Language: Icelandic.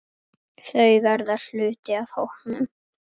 Þau verða hluti af hópnum.